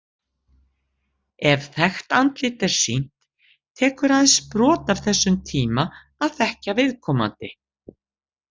Ef þekkt andlit er sýnt, tekur aðeins brot af þessum tíma að þekkja viðkomandi.